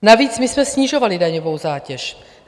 Navíc my jsme snižovali daňovou zátěž.